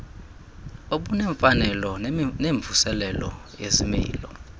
obunemfanelo nemvuselelo yezimilo